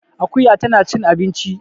Akuya tana cin abinci